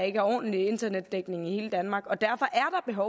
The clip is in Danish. ikke er ordentlig internetdækning i hele danmark derfor er